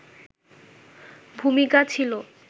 ভূমিকা ছিল